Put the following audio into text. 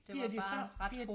Bliver de så bliver